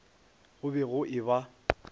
go be go e ba